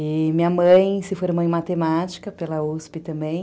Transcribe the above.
E minha mãe se formou em matemática pela uspi também.